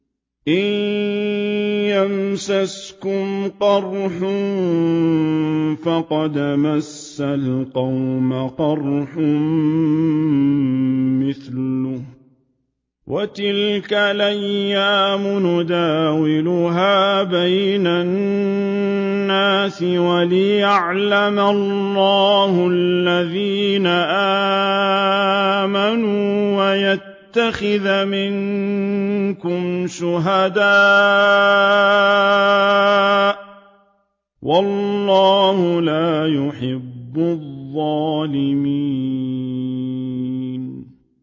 إِن يَمْسَسْكُمْ قَرْحٌ فَقَدْ مَسَّ الْقَوْمَ قَرْحٌ مِّثْلُهُ ۚ وَتِلْكَ الْأَيَّامُ نُدَاوِلُهَا بَيْنَ النَّاسِ وَلِيَعْلَمَ اللَّهُ الَّذِينَ آمَنُوا وَيَتَّخِذَ مِنكُمْ شُهَدَاءَ ۗ وَاللَّهُ لَا يُحِبُّ الظَّالِمِينَ